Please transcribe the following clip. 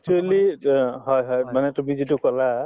actually অ হয় হয় মানে তুমি যিটো কলা